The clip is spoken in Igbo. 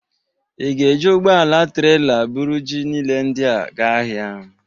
Ị ga-eji ụgbọala trela bụrụ ji niile ndị a ga ahịa?